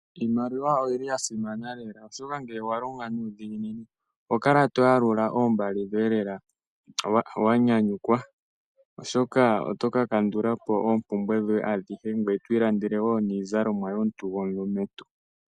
Iimaliwa oyili yasimana lela oshoka ngele owalonga nuudhiginini oho kala toyalula iimaliwa yoye wanyanyukwa, oshoka otoka kandula po oompumbwe dhoye adhihe ngoye to ilandele woo niizalomwa yoye omuntu gomulumentu.